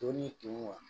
Don'i kun wa